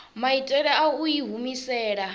maitele a u i humisela